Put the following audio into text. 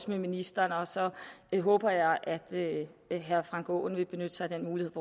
med ministeren så jeg håber at herre frank aaen vil benytte sig af muligheden